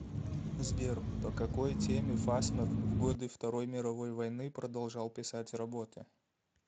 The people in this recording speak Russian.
сбер по какай теме фасмер в годы второй мировой войны продолжал писать работы